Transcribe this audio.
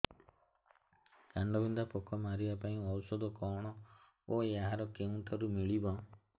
କାଣ୍ଡବିନ୍ଧା ପୋକ ମାରିବା ପାଇଁ ଔଷଧ କଣ ଓ ଏହା କେଉଁଠାରୁ ମିଳିବ